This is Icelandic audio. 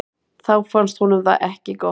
Þá fannst honum það ekki gott.